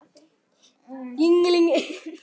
Hver á að dæma?